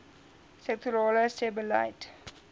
sektorale sebbeleid